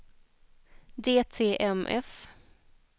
DTMF